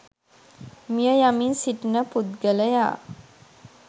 මිය යමින් සිටින පුද්ගලයා